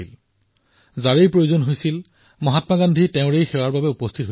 যেতিয়াই কাৰোবাক সহায়ৰ প্ৰয়োজন হয় তেতিয়াই মহাত্মা গান্ধীয়ে সেৱাৰ বাবে উপস্থিত হৈছিল